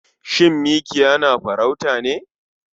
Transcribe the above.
Shin mikiya na farauta ne?